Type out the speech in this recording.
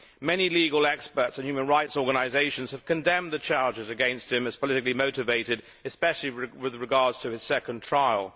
Many legal experts and human rights organisations have condemned the charges against him as politically motivated, especially with regard to his second trial.